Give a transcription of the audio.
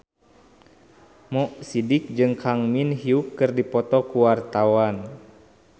Mo Sidik jeung Kang Min Hyuk keur dipoto ku wartawan